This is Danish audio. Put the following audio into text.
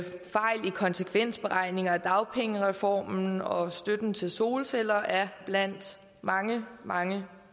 konsekvensberegninger af dagpengereformen og støtten til solceller blandt mange mange